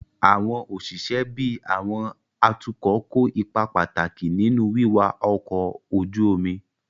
Àwọn òṣìṣẹ́ bíi àwọn atukọ̀ kó ipa pàtàkì nínú wíwa ọkọ̀ ojú omi